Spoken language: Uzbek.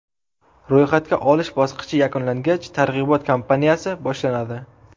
Ro‘yxatga olish bosqichi yakunlangach, targ‘ibot kampaniyasi boshlanadi.